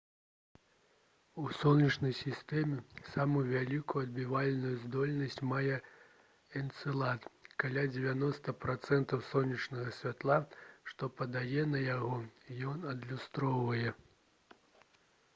у сонечнай сістэме самую вялікую адбівальную здольнасць мае энцэлад каля 90 працэнтаў сонечнага святла што падае на яго ён адлюстроўвае